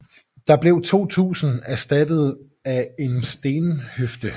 Den blev 2000 erstattet af en stenhøfde